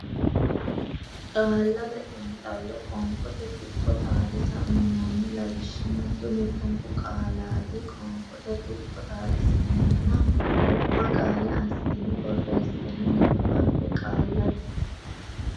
Qaallate Xiinxallo Qoonqote Tuqqo Xaadisa uynoonni lawishshi mittu mittunku qaalita qoonqote tuqqo xaadissinanni wo ma qaale assitine borreessitine nabbabbe Qaallate.